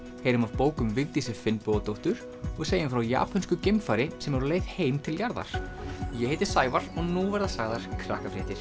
heyrum af bók um Vigdísi Finnbogadóttur og segjum frá japönsku geimfari sem er á leið heim til jarðar ég heiti Sævar og nú verða sagðar